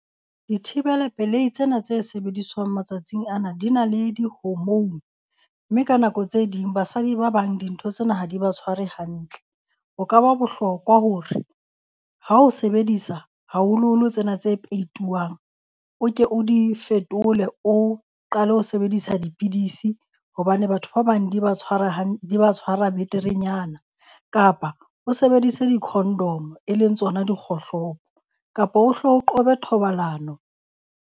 Dithibela pelei tsena tse sebediswang matsatsing ana di na le di-hormone, mme ka nako tse ding basadi ba bang dintho tsena ha di ba tshware hantle. Ho ka ba bohlokwa hore ha o sebedisa haholoholo tsena tse peituwang o ke o di fetole, o qale ho sebedisa dipidisi hobane batho ba bang di ba tshwara di ba tshwara beterenyana. Kapa o sebedise di-condom, e leng tsona dikgohlopo kapa o hle o qobe thobalano.